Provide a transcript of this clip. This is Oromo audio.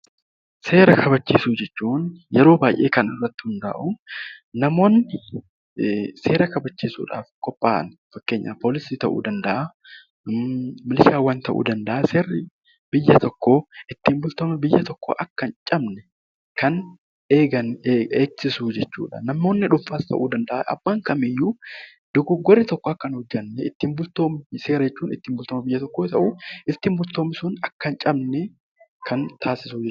Seera kabachiisuu jechuun yeroo baay'ee kan irratti hundaa'u namoonni seera kabachiisuudhaaf qophaa'an fakkeenyaaf poolisii ta'uu danda'a, milishaa ta'uu danda'a ittiin bulmaanni biyya tokkoo akka hin cabne kan eegan jechuudha. Namoonni dhuunfaas ta'uu danda'a. Seera jechuun ittiin bulmaata biyya tokkoo yoo ta'u, ittiin bulmaatni sun akka hin cabne kan taasisudha.